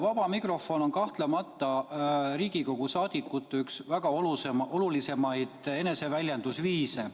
Vaba mikrofon on kahtlemata Riigikogu liikmete väga oluline, olulisimaid eneseväljendusviise.